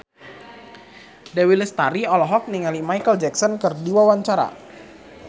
Dewi Lestari olohok ningali Micheal Jackson keur diwawancara